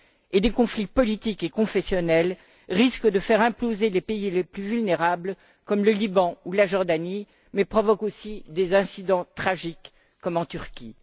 Et des conflits politiques et confessionnels risquent de faire imploser les pays les plus vulnérables, comme le Liban ou la Jordanie, mais provoquent aussi des incidents tragiques, comme en Turquie.